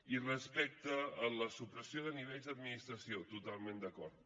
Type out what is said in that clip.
i respecte a la supressió de nivells d’administració totalment d’acord